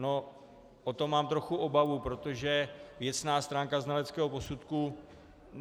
No, o to mám trochu obavu, protože věcná stránka znaleckého posudku...